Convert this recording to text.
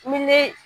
Ni ne